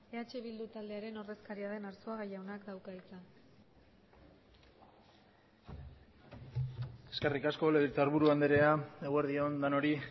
eh bildu taldearen ordezkaria den arzuaga jaunak dauka hitza eskerrik asko legebiltzarburu andrea eguerdi on denoi